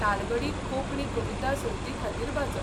तालगडी कोंकणी कविता सर्तीखातीर बाचप.